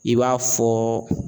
I b'a fɔɔ